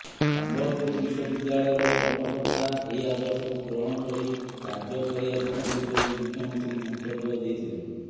ସମ୍ବଲପୁର ବିଶ୍ୱବିଦ୍ୟାଳୟର କର୍ମକର୍ତ୍ତା ଏହି ଆଦର୍ଶକୁ ଗ୍ରହଣ କରି କାର୍ଯ୍ୟ କରିଆସିଛନ୍ତି ବୋଲି ମୁଖ୍ୟମନ୍ତ୍ରୀ ମନ୍ତବ୍ୟ ଦେଇଥିଲେ